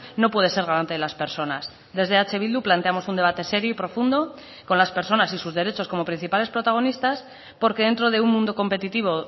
no puede ser garante de las personas desde eh bildu planteamos un debate serio y profundo con las personas y sus derechos como principales protagonistas porque dentro de un mundo competitivo